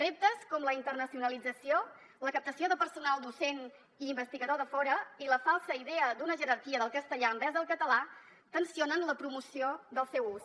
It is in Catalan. reptes com la internacionalització la captació de personal docent i investigador de fora i la falsa idea d’una jerarquia del castellà envers el català tensio nen la promoció del seu ús